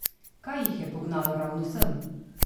Kaj jih je pognalo ravno sem?